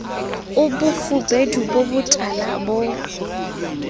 a bofubedu bo botala bo